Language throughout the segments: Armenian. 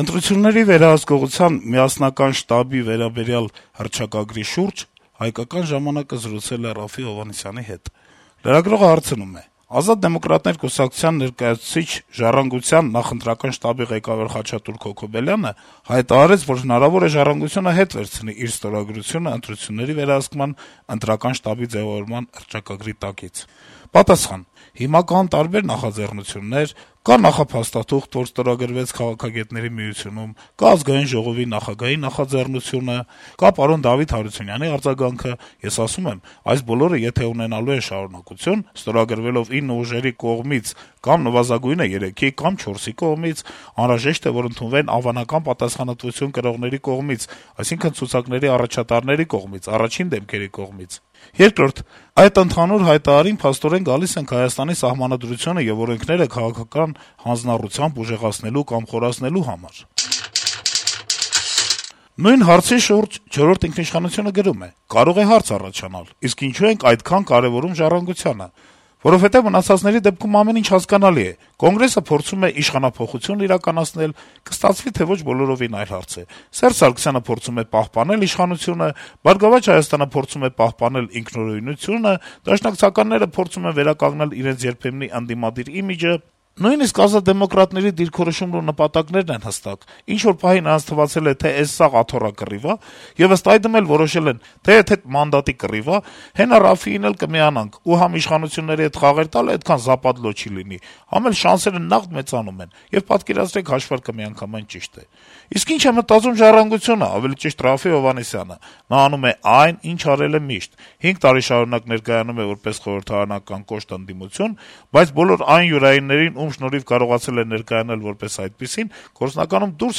Ընտրությունների վերահսկողության միասնական շտաբի վերաբերյալ հռչակագրի շուրջ «Հայկական ժամանակ»-ը զրուցել է Րաֆֆի Հովհաննիսյանի հետ: Լրագրողը հարցնում է. - «Ազատ դեմոկրատներ» կուսակցության ներկայացուցիչ, «Ժառանգության» նախընտրական շտաբի ղեկավար Խաչատուր Քոքոբելյանը հայտարարեց, որ հնարավոր է` «Ժառանգությունը» ետ վերցնի իր ստորագրությունն ընտրությունների վերահսկման ընտրական շտաբի ձեւավորման մասին հռչակագրի տակից»: Հովհաննիսյանը պատասխանում է. - «Հիմա կան տարբեր նախաձեռնություններ. կա նախափաստաթուղթ, որ ստորագրվեց Քաղաքագետների միությունում, կա ԱԺ նախագահի նախաձեռնությունը կա պարոն Դավիթ Հարությունյանի արձագանքը: Ես ասում եմ` այս բոլորը եթե ունենալու են շարունակություն` ստորագրվելով ինը ուժերի կողմից կամ նվազագույնը 3-ի կամ 4-ի կողմից, անհրաժեշտ է, որ ընդունվեն անվանական պատասխանատվություն կրողների կողմից, այսինքն` ցուցակների առաջատարների կողմից, առաջին դեմքերի կողմից: Երկրորդ` այդ ընդհանուր հայտարարին փաստորեն գալիս ենք Հայաստանի Սահմանադրությունը եւ օրենքները քաղաքական հանձնառությամբ ուժեղացնելու կամ խորացնելու համար»: Նույն հարցի շուրջ «Չորրորդ ինքնիշխանություն»-ը գրում է. - «Կարող է հարց առաջանալ՝ իսկ ինչո՞ւ ենք այդքան կարեւորում «Ժառանգությանը»: Որովհետեւ մնացածների դեպքում ամեն ինչ հասկանալի է. Կոնգրեսը փորձում է իշխանափոխություն իրականացնել, կստացվի, թե՝ ոչ, բոլորովին այլ հարց է: Սերժ Սարգսյանը փորձում է պահպանել իշխանությունը: «Բարգավաճ Հայաստան»-ը փորձում է պահպանել ինքնուրույնությունը, դաշնակցականները փորձում են վերականգնել իրենց երբեմնի ընդդիմադիր իմիջը: Նույնիսկ «Ազատ դեմոկրատների» դիրքորոշումն ու նպատակներն են հստակ. ինչ-որ պահի նրանց թվացել է, թե «էս սաղ աթոռակռիվ ա» եւ ըստ այդմ էլ որոշել են՝ «դե, եթե մանդատի կռիվ ա, հենա Րաֆֆին էլ կմիանանք, ու համ իշխանության հետ խաղերը տալը էդքան զապադլո չի լինի, համ էլ շանսերը նաղդ մեծանում են»: Եվ պատկերացրեք հաշվարկը միանգամայն ճիշտ է: Իսկ ի՞նչ է մտածում «Ժառանգություն»-ը, ավելի ճիշտ Րաֆֆի Հովհաննիսյանը: Նա անում է այն, ինչ արել է միշտ: Հինգ տարին շարունակ ներկայանում է որպես խորհրդարանական կոշտ ընդդիմություն, բայց բոլոր այն յուրայիններին, ում շնորհիվ կարողացել է ներկայանալ որպես այդպիսին, գործնականում դուրս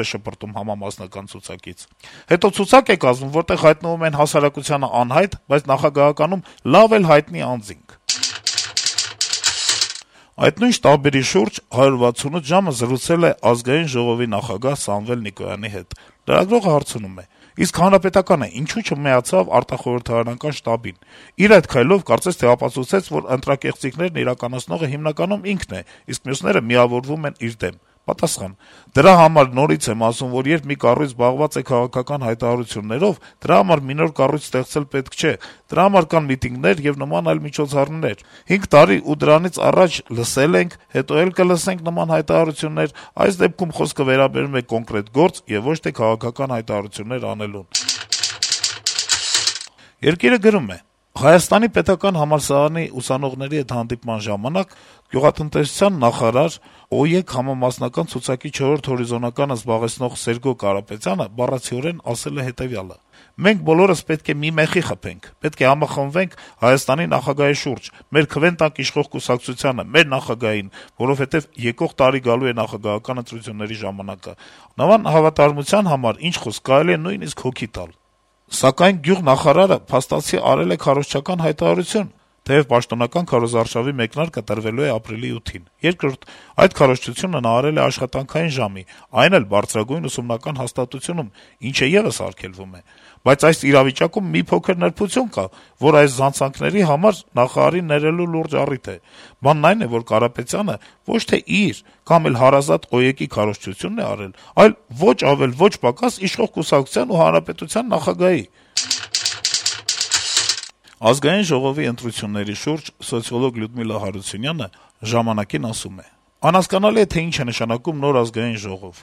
է շպրտում համամասնական ցուցակից: Հետո ցուցակ է կազմում, որտեղ հայտնվում են հասարակությանը անհայտ, բայց նախագահականում լավ էլ հայտնի անձինք»: Այդ նույն շտաբերի շուրջ «168 ժամ»-ը զրուցել է Ազգային ժողովի նախագահ Սամվել Նիկոյանի հետ: Լրագրողը հարցնում է. - «Իսկ ՀՀԿ-ն ինչո՞ւ չմիացավ արտախորհրդարանական շտաբին: Իր այդ քայլով կարծես թե ապացուցեց, որ ընտրակեղծիքներն իրականացնողը հիմնականում ինքն է, իսկ մյուսները միավորվում են իր դեմ»: Նիկոյանը պատասխանում է. - «Դրա համար նորից եմ ասում, որ երբ մի կառույց զբաղված է քաղաքական հայտարարություններով, դրա համար մի նոր կառույց ստեղծել պետք չէ: Դրա համար կան միտինգներ եւ նման այլ միջոցառումներ: 5 տարի ու դրանից առաջ լսել ենք, հետո էլ կլսենք նման հայտարարություններ: Այս դեպքում խոսքը վերաբերում է կոնկրետ գործ եւ ոչ թե` քաղաքական հայտարարություններ անելուն»: «Երկիր»-ը գրում է. - «Հայաստանի պետական ագրարային համալսարանի ուսանողների հետ հանդիպման ժամանակ գյուղատնտեսության նախարար, ՕԵԿ համամասնական ցուցակի չորրորդ հորիզոնականը զբաղեցնող Սերգո Կարապետյանը բառացիորեն ասել է հետեւյալը՝ «Մենք բոլորս պետք է մի մեխի խփենք, պետք է համախմբվենք ՀՀ նախագահի շուրջ, մեր քվեն տանք իշխող կուսակցությանը, մեր նախագահին, որովհետեւ եկող տարի գալու է նախագահական ընտրությունների ժամանակը»: Նման հավատարմության համար, ինչ խոսք, ոչ միայն կարելի է վիրավորվել, այլեւ նույնիսկ հոգի տալ: Բայց գյուղնախարարը փաստացի արել է քարոզչական հայտարարություն, թեեւ պաշտոնապես քարոզարշավի մեկնարկը տրվելու է ապրիլի 8-ին: Երկրորդ, այդ քարոզչությունը նա արել է աշխատանքային ժամին, այն էլ բարձրագույն ուսումնական հաստատությունում, ինչը եւս արգելվում է: Բայց այս իրավիճակում մի փոքր նրբություն կա, որը այս զանցանքների համար նախարարին ներելու լուրջ առիթ է: Բանն այն է, որ Կարապետյանը ոչ թե իր կամ էլ հարազատ ՕԵԿ-ի քարոզչությունն է արել, այլ` ոչ ավել ոչ պակաս… իշխող կուսակցության եւ հանրապետության նախագահի»: Ազգային ժողովի ընտրությունների շուրջ սոցիոլոգ Լյուդմիլա Հարությունյանը «Ժամանակ»-ին ասում է. - «Անհասկանալի է, թե ինչ է նշանակում նոր Ազգային ժողով: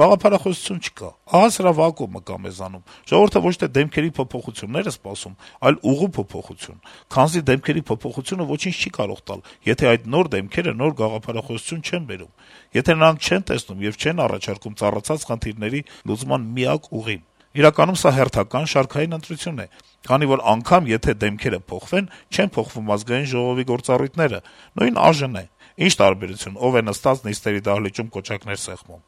Գաղափարախոսություն չկա՝ ահա սրա վակուումը կա մեզանում, ժողովուրդը ոչ թե դեմքերի փոփոխությունն է սպասում, այլ ուղու փոփոխություն, քանզի դեմքերի փոփոխությունը ոչինչ չի կարող տալ, եթե այդ նոր դեմքերը նոր գաղափարախոսություն չեն բերում, եթե նրանք չեն տեսնում եւ չեն առաջարկում ծառացած խնդիրների լուծման միակ ուղին: Իրականում սա հերթական, շարքային ընտրություն է, քանի որ եթե անգամ դեմքերը փոխվեն, չեն փոխվում Ազգային ժողովի գործառույթները: Նույն ԱԺ-ն է, ի՞նչ տարբերություն՝ ով է նստած նիստերի դահլիճում կոճակներ սեղմում»: